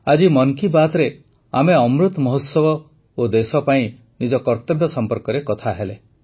ଆଜି ମନ୍ କୀ ବାତ୍ରେ ଆମେ ଅମୃତ ମହୋତ୍ସବ ଓ ଦେଶ ପାଇଁ ନିଜ କର୍ତ୍ତବ୍ୟ ସମ୍ପର୍କରେ କଥା ହେଲେ